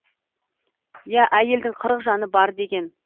иә әйелдің қырық жаны бар деген